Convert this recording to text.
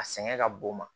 A sɛgɛn ka bon o ma